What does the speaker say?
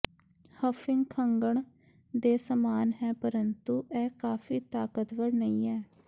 huffing ਖੰਘਣ ਦੇ ਸਮਾਨ ਹੈ ਪਰੰਤੂ ਇਹ ਕਾਫ਼ੀ ਤਾਕਤਵਰ ਨਹੀਂ ਹੈ